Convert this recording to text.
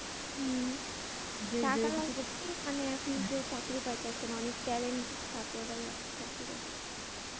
হম টাকা বাদে মানি কি এখন কেউ চাকরি পাইতাছেনা। অনেক talent ছাত্ররাই অনেক চাকরি পাইতাছেনা।